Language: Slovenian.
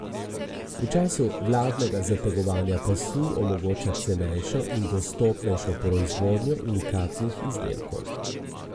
V času vladnega zategovanja pasu omogoča cenejšo in dostopnejšo proizvodnjo unikatnih izdelkov.